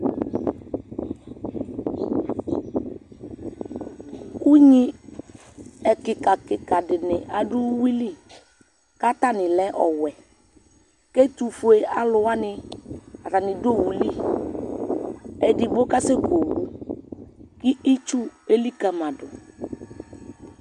Unyi ɛkika ɛkika dini adʋ uwili kʋ atani lɛ ɔwʋɛ kʋ ɛtʋfue alʋ wani atani dʋ owʋli edigbo kasɛkʋ owʋ kʋ itsʋ elikali ma dʋ